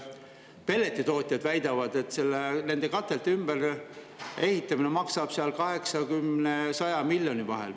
Pelletitootjad väidavad, et nende katelde ümberehitamine maksab 80–100 miljoni vahel.